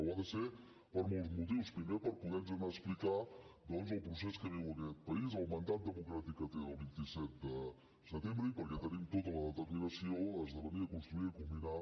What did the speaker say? ho ha de ser per molts motius primer per poder anar a explicar doncs el procés que viu aquest país el mandat democràtic que té del vint set de setembre i perquè tenim tota la determinació a esdevenir a construir a culminar